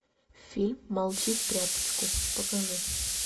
фильм молчи в тряпочку покажи